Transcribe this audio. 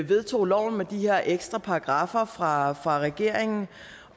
vedtog loven med de her ekstra paragraffer fra regeringen